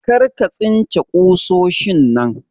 Karka tsince kusoshin nan!